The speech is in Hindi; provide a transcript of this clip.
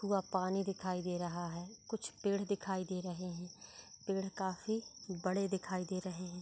वहा पानी दिखाई दे रहा है कुछ पेड़ दिखाई दे रहे है पेड़ काफी बड़े दिखाई दे रहे है।